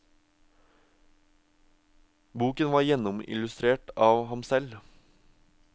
Boken var gjennomillustrert av ham selv.